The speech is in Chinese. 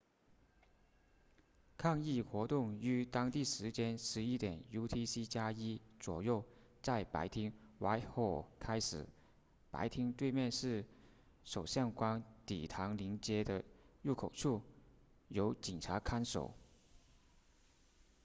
抗议活动于当地时间 11:00 utc+1 左右在白厅 whitehall 开始白厅对面是首相官邸唐宁街的入口处由警察看守